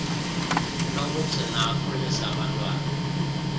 lokugcina akhulise abantwana